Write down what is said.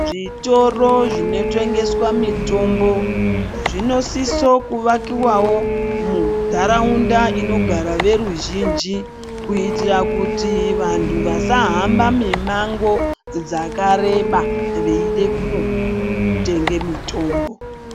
Zvitoro zvinotengeswa mitombo zvinosiso kuvakiwawo munharaunda inogara veruzhinji kuitira kuti vantu vasahamba mimango dzakareba veide kunotenge mitombo.